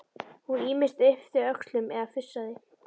Hún ýmist yppti öxlum eða fussaði.